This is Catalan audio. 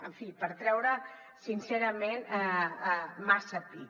en fi per treure sincerament massa pit